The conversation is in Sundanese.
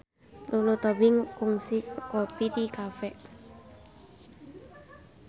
Lulu Tobing kungsi ngopi di cafe